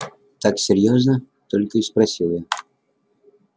так серьёзно только и спросил я